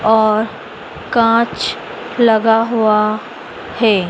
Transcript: और कांच लगा हुआ हैं।